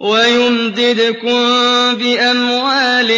وَيُمْدِدْكُم بِأَمْوَالٍ